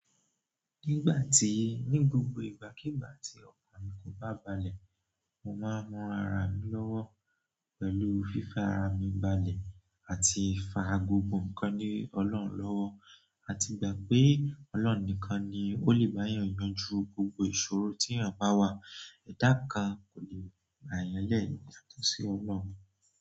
Nígbà tí, ní gbogbo ìgbàkígbà tí ọkàn mi kò bá balẹ̀, mo máa ń mọ ara mi lọ́wọ́ pẹ̀lú fífi ara mi gbalẹ̀ àti fa gbogbo ǹkan le ọlọ́run lọ́wọ́, àti ìgbà pé Ọlọ́run nìkan ni ó lè bá èèyàn yanjú gbogbo ìṣòro tí èèyàn bá wà. Ẹ̀dá kan kò lè gbá èèyàn lẹ́ yàtọ̀ sí Ọlọ́run.